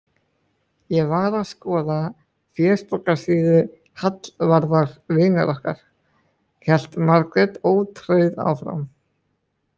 Ég var að skoða fésbókarsíðu Hallvarðar vinar okkar, hélt Margrét ótrauð áfram.